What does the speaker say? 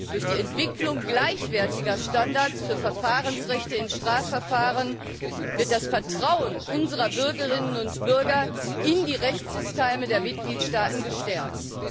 Durch die Entwicklung gleichwertiger Standards für Verfahrensrechte in Strafverfahren wird das Vertrauen unserer Bürgerinnen und Bürger in die Rechtssysteme der Mitgliedstaaten gestärkt.